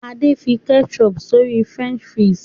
Ade fí ketchup sori french fries.